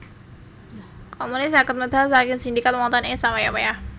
Komune saged medal saking sindikat wonten ing sawayah wayah